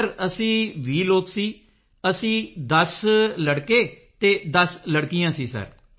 20 ਲੋਕ ਸਿਰ ਅਸੀਂ 10 ten boy 10 ten girl ਸਾਂ ਸਿਰ